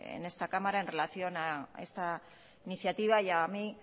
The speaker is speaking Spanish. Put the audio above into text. en esta cámara en relación a esta iniciativa y a mí